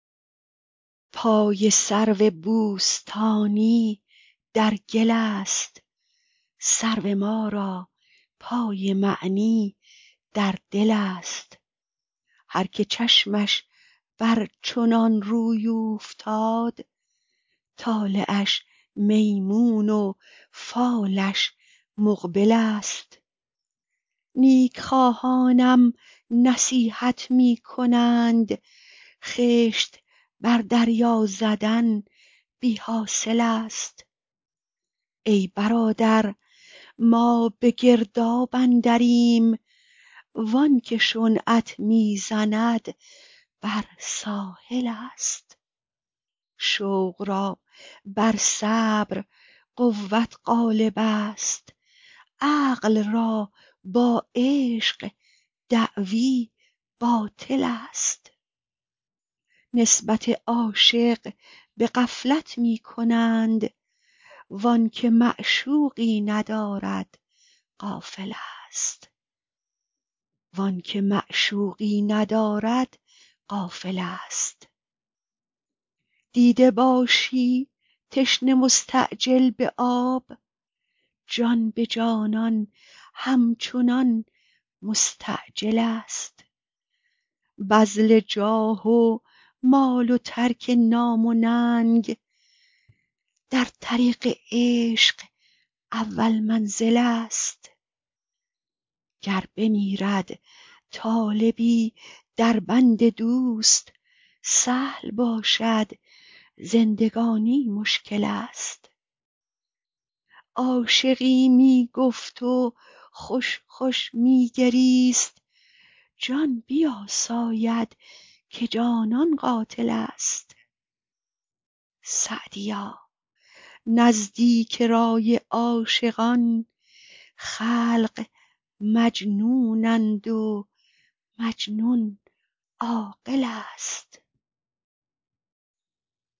پای سرو بوستانی در گل است سرو ما را پای معنی در دل است هر که چشمش بر چنان روی اوفتاد طالعش میمون و فالش مقبل است نیک خواهانم نصیحت می کنند خشت بر دریا زدن بی حاصل است ای برادر ما به گرداب اندریم وان که شنعت می زند بر ساحل است شوق را بر صبر قوت غالب است عقل را با عشق دعوی باطل است نسبت عاشق به غفلت می کنند وآن که معشوقی ندارد غافل است دیده باشی تشنه مستعجل به آب جان به جانان همچنان مستعجل است بذل جاه و مال و ترک نام و ننگ در طریق عشق اول منزل است گر بمیرد طالبی در بند دوست سهل باشد زندگانی مشکل است عاشقی می گفت و خوش خوش می گریست جان بیاساید که جانان قاتل است سعدیا نزدیک رای عاشقان خلق مجنونند و مجنون عاقل است